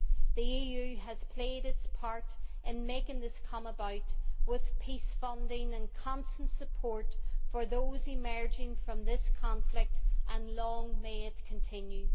The EU has played its part in making this come about, with peace funding and constant support for those emerging from this conflict, and long may it continue.